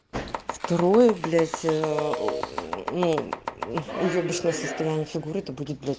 второе блять эээ ну уебищное состояние фигуры то будет